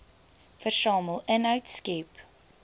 versamel inhoud skep